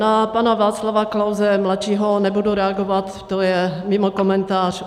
Na pana Václava Klause mladšího nebudu reagovat, to je mimo komentář.